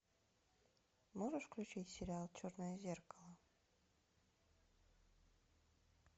можешь включить сериал черное зеркало